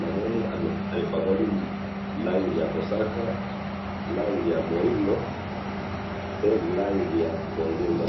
namoni apokali rangi ya mosaka, rangi ya muindo, pe rangi ya bozenza